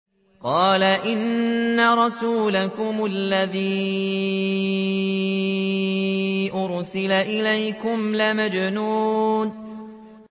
قَالَ إِنَّ رَسُولَكُمُ الَّذِي أُرْسِلَ إِلَيْكُمْ لَمَجْنُونٌ